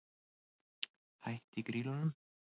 Hætt í Grýlunum?